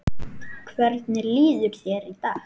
Hvernig líður þér í dag?